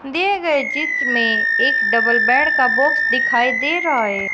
दिये गये चित्र में एक डबल बेड का बाक्स दिखाई दे रहा है।